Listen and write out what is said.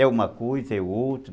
É uma coisa, é outra.